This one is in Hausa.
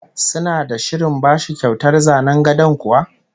Suna da shirin bashi kyautar zanen gadon kuwa?